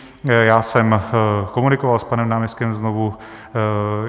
Já jsem komunikoval s panem náměstkem znovu.